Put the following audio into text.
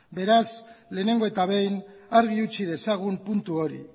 beraz lehenengo eta behin argi utzi dezagun puntu hori